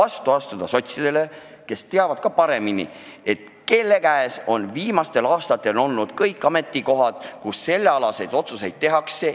Sotsid teavad ka seda meist paremini ja just nende käes on viimastel aastatel olnud kõik ametikohad, kus sellealaseid otsuseid tehakse.